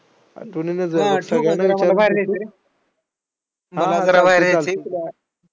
हां, ठेऊ का आता आम्हाला बाहेर जायचंय, हां जरा बाहेर जायचंय